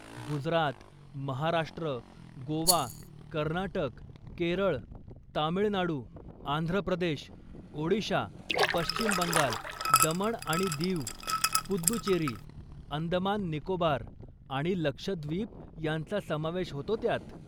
गुजरात, महाराष्ट्र, गोवा, कर्नाटक, केरळ, तामिळनाडू, आंध्र प्रदेश, ओडिशा, पश्चिम बंगाल, दमण आणि दीव, पुद्दुचेरी, अंदमान निकोबार आणि लक्षद्वीप यांचा समावेश होतो त्यात.